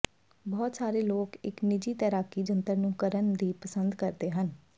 ਬਹੁਤ ਸਾਰੇ ਲੋਕ ਇੱਕ ਨਿੱਜੀ ਤੈਰਾਕੀ ਜੰਤਰ ਨੂੰ ਕਰਨ ਦੀ ਪਸੰਦ ਕਰਦੇ ਹਨ